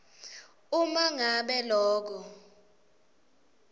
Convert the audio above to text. uma ngabe loko